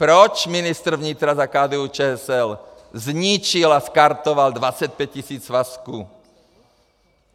Proč ministr vnitra za KDU-ČSL zničil a skartoval 25 tisíc svazků?